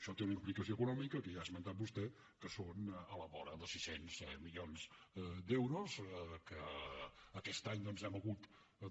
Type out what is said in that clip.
això té una implicació econòmica que ja ha esmentat vostè que són a la vora de sis cents milions d’euros que aquest any doncs hem hagut